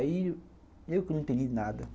Aí eu que não entendi nada.